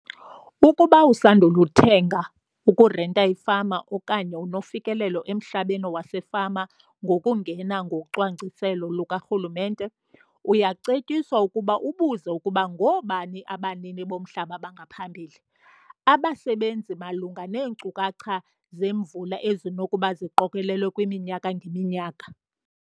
Ukuba usandul' ukuthenga, ukurenta ifama okanye unofikelelo emhlabeni wasefama ngokungena ngocwangciselo lukarhulumente, uyacetyiswa ukuba ubuze ukuba ngoobani abanini bomhlaba bangaphambili, abasebenzisi malunga neenkcukacha zemvula ezinokuba ziqokelelwe kwiminyaka ngeminyaka.